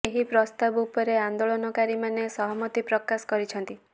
ଏହି ପ୍ରସ୍ତାବ ଉପରେ ଆନ୍ଦୋଳନକାରି ମାନେ ସହମତି ପ୍ରକାଶ କରିଛନ୍ତି